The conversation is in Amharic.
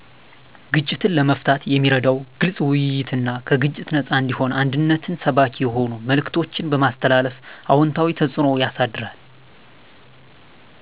ግጭትን ለመፍታት የሚረዳው ግልፅ ውይይትና ከግጭት ነፃ እንዲሁም አንድነትን ሰባኪ የሆኑ መልዕክቶችን በማስተላለፍ አዎንታዊ ተፅኖ ያሳድራል።